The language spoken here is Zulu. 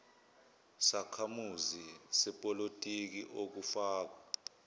sakhamuzi sepolitiki okufaka